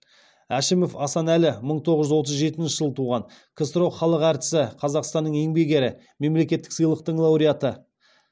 әшімов асанәлі мың тоғыз жүз отыз жетінші жылы туған ксро халық әртісі қазақстанның еңбек ері мемлекеттік сыйлықтың лауреаты